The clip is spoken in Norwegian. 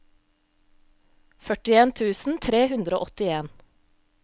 førtien tusen tre hundre og åttien